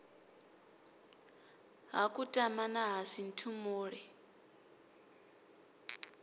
ha kutama na ha sinthumule